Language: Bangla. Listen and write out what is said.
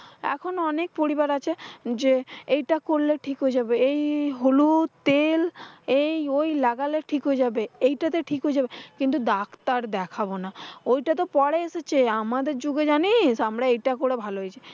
এখন অনেক পরিবার আছে যে, এইটা করলে ঠিক হয়ে যাবে। এই হলুদ তেল এই ঐ লাগালে ঠিক হয়ে যাবে, এইটাতে ঠিক হয়ে যাবে। কিন্তু ডাক্তার দেখাবো না। ওইটা তো পরে এসেছে, আমাদের যুগে জানিস আমরা এটা করে ভাল হয়েছিলাম।